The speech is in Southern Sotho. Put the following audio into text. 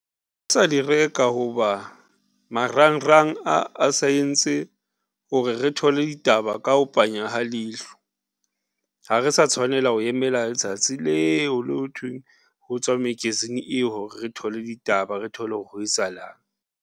Re sa di reka hoba marangrang a sa entse hore re thole ditaba ka ho panya ha leihlo, ha re sa tshwanela ho emela letsatsi leo le ho thweng ho tswa magazine eo re thole ditaba re thole hore ho etsahalang.